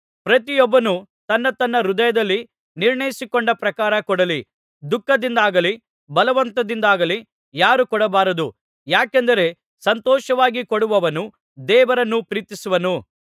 ಪ್ರತಿಯೊಬ್ಬನೂ ತನ್ನ ತನ್ನ ಹೃದಯದಲ್ಲಿ ನಿರ್ಣಯಿಸಿಕೊಂಡ ಪ್ರಕಾರ ಕೊಡಲಿ ದುಃಖದಿಂದಾಗಲಿ ಬಲವಂತದಿಂದಾಗಲಿ ಯಾರೂ ಕೊಡಬಾರದು ಯಾಕೆಂದರೆ ಸಂತೋಷವಾಗಿ ಕೊಡುವವನನ್ನು ದೇವರು ಪ್ರೀತಿಸುವನು